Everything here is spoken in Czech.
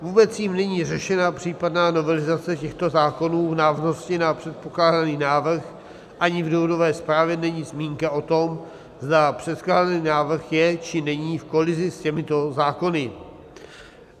Vůbec jím není řešena případná novelizace těchto zákonů v návaznosti na předpokládaný návrh, ani v důvodové zprávě není zmínka o tom, zda předkládaný návrh je, či není v kolizi s těmito zákony.